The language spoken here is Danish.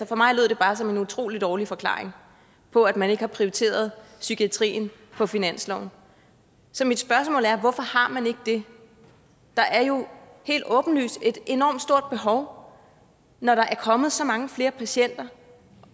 for mig lød det bare som en utrolig dårlig forklaring på at man ikke har prioriteret psykiatrien på finansloven så mit spørgsmål er hvorfor har man ikke det der er jo helt åbenlyst et enormt stort behov når der er kommet så mange flere patienter